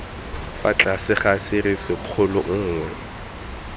fa tlase ga serisikgolo nngwe